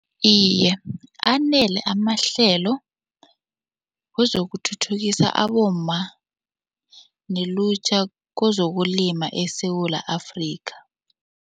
Iye, anele amahlelo wezokuthuthukisa abomma nelutjha kezokulima eSewula Afrika.